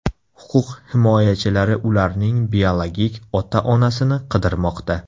Huquq himoyachilari ularning biologik ota-onasini qidirmoqda.